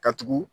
Ka tugu